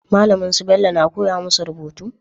Malamin su Bello na koya musu rubutu?